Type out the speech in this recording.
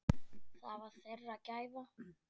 Það var þeirra gæfa.